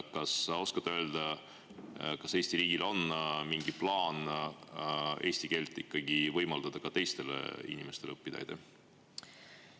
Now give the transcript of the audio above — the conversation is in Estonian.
Kas sa oskad öelda, kas Eesti riigil on mingi plaan ikkagi võimaldada ka teistel inimestel eesti keelt õppida?